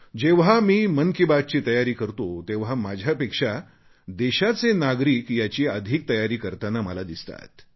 जेव्हा मी मन की बात ची तयारी करतो तेव्हा माझ्यापेक्षा देशाचे नागरिक याची अधिक तयारी करताना मला दिसतात